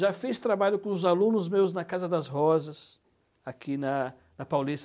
Já fiz trabalho com os alunos meus na Casa das Rosas, aqui na na Paulista.